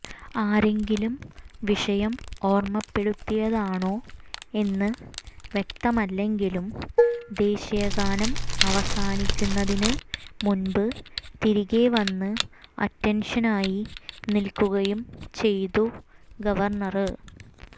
ആരെങ്കിലും വിഷയം ഓര്മ്മപ്പെടുത്തിയതാണോ എന്ന് വ്യക്തമല്ലെങ്കിലും ദേശീയ ഗാനം അവസാനിക്കുന്നതിന് മുന്പ് തിരികെ വന്ന് അറ്റന്ഷനായി നില്ക്കുകയും ചെയ്തു ഗവര്ണര്